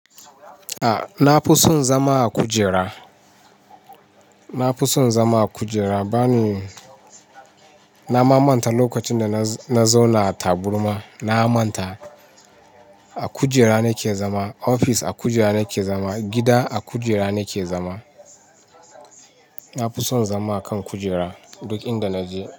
A na fi son zama a kujera, na fi son zama a kujera bani. Na ma manta lokacin da na zauna a taburma. Na manta a kujera nake zama, ofis a kujera nake zama, gida a kujera nake zama. Na fi son zama a kan kujera duk inda naje.